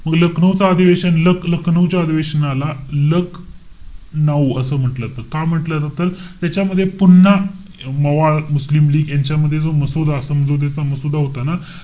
पुढे लखनऊ च अधिवेशन, लख~ लखनऊ च्या अधिवेशनाला लक-नाऊ असं म्हंटल जातं. का म्हंटल जातं? त्याच्यामध्ये पुन्हा मवाळ, मुस्लिम लीग यांच्या मध्ये जो मसुदा, समजुतीचा मसुदा होता ना,